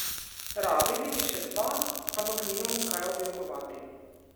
Rabili bi še dva, ampak nimamo kaj objokovati.